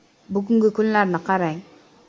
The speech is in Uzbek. “Bugungi kunlarni qarang.